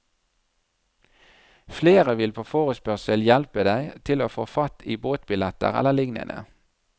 Flere vil på forespørsel hjelpe deg til å få fatt i båtbilletter eller lignende.